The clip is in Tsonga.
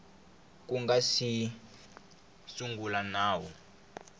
ku nga si sungula nawu